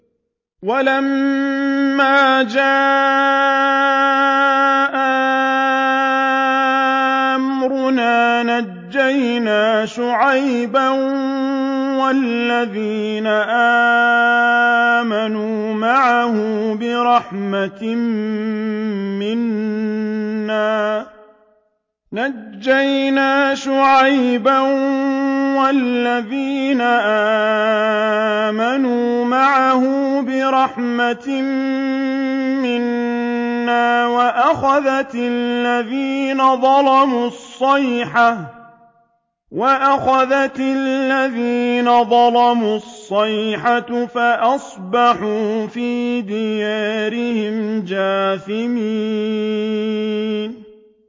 وَلَمَّا جَاءَ أَمْرُنَا نَجَّيْنَا شُعَيْبًا وَالَّذِينَ آمَنُوا مَعَهُ بِرَحْمَةٍ مِّنَّا وَأَخَذَتِ الَّذِينَ ظَلَمُوا الصَّيْحَةُ فَأَصْبَحُوا فِي دِيَارِهِمْ جَاثِمِينَ